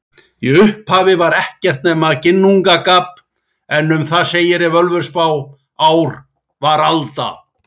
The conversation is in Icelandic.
Í upphafi var ekkert nema Ginnungagap en um það segir í Völuspá: Ár var alda,